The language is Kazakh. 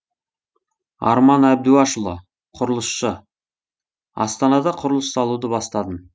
арман әбдуашұлы құрылысшы астанада құрылыс салуды бастадым